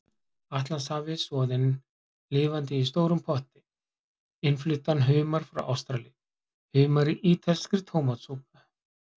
Atlantshafi, soðinn lifandi í stórum potti, innfluttan humar frá Ástralíu, humar í ítalskri tómatsúpu.